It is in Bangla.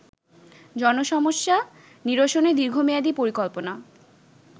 জনসমস্যা নিরসনে দীর্ঘমেয়াদি পরিকল্পনা